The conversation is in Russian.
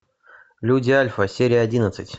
люди альфа серия одиннадцать